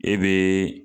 E be